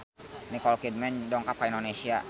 Nicole Kidman dongkap ka Indonesia